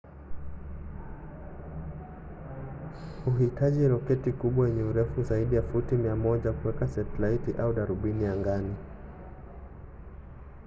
huhitaji roketi kubwa yenye urefu wa zaidi ya futi 100 kuweka setalaiti au darubini angani